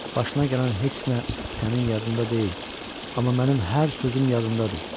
Başına gələn heç nə sənin yadında deyil, amma mənim hər sözüm yadındadır.